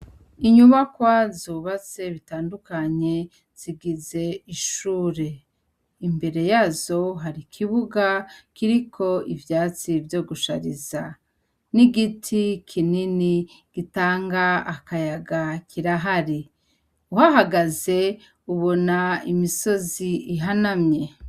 Inyubakwa zubatse bitandukanye zigize ishure. Imbere yazo hari ikibuga kiriko ivyatsi vyo gushariza. N'igiti kinini gitanga akayaga kirahari. Uhahagaze ubona imisozi ihanamye.